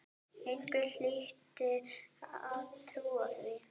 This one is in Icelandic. Einhver hlyti að trúa því.